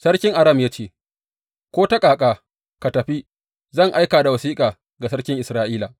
Sarkin Aram ya ce, Ko ta ƙaƙa, ka tafi, zan aika da wasiƙa ga sarkin Isra’ila.